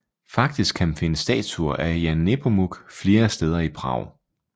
Faktisk kan man finde statuer af Jan Nepomuk flere steder i Prag